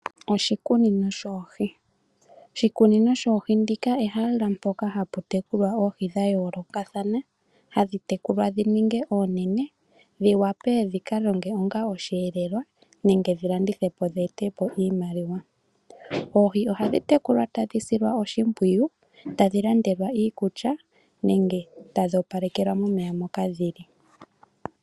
Oshikunino shoohii, oshikunino shoohii ndika ehala poka hapu tekulilwa oohii dhayolokathana hadhi tekulwa dhininge onene dhi wa pe dhi ninge oshelelwa nenge dhi landithwe po dhe ete po iimaliwa, oohii ohadhi tekulwa tadhi silwa oshipwiyu, tadhi landelwa iikulya nenge tadhi opalekelwa momeya moka dhili.